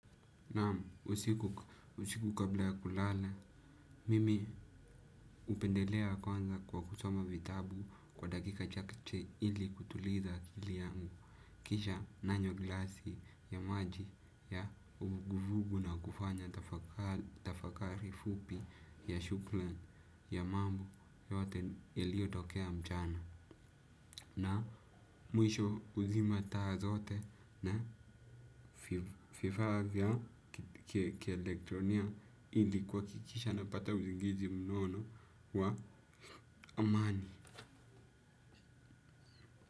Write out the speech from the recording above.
Naam usiku kabla ya kulala, mimi upendelea kwanza kwa kusoma vitabu kwa dakika chakche ili kutuliza akili yangu. Kisha nanywa glasi ya maji ya uvuguvugu na kufanya tafakari fupi ya shuklan ya mambo yote yaliyo tokea mchana. Na mwisho uzima taa zote na vifaa vya kielektronia ili kuhakikisha napata uzingizi mnono wa amani.